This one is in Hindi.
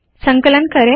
संकलन करे